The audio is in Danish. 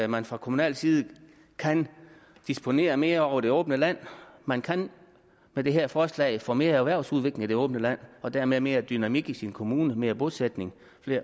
man fra kommunal side kan disponere mere over det åbne land man kan med det her forslag få mere erhvervsudvikling i det åbne land og dermed mere dynamik i sin kommune mere bosætning